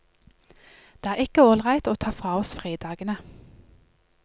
Det er ikke ålreit å ta fra oss fridagene.